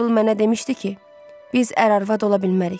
Mabel mənə demişdi ki, biz ər-arvad ola bilmərik.